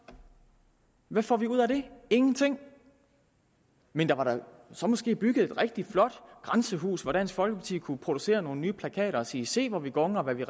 hvad får vi ud af det ingenting men der var da så måske bygget et rigtig flot grænsehus hvor dansk folkeparti kunne producere nogle nye plakater og sige se hvor vi gungrer og hvad vi